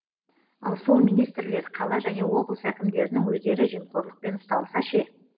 ал сол министрлер қала және облыс әкімдерінің өздері жемқорлықпен ұсталса ше